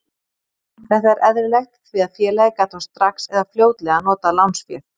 Þetta er eðlilegt því að félagið gat þá strax eða fljótlega notað lánsféð.